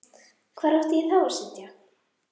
Hvar átti ég þá að sitja?